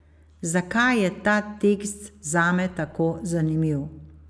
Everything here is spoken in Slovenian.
Zakaj je ta tekst zame tako zanimiv?